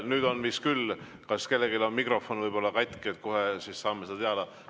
Nüüd on vist küll nii, et kellelgi on võib-olla mikrofon katki, kohe saame teada.